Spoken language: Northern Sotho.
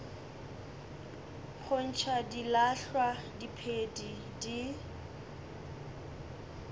go ntšha dilahlwa diphedi di